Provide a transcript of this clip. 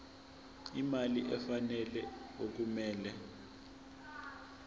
imali efanele okumele